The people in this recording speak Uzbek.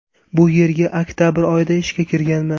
Bu yerga oktabr oyida ishga kirganman.